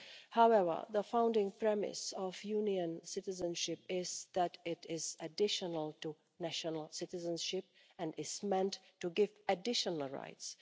However, the founding premise of Union citizenship is that it is additional to national citizenship and is meant to give additional rights.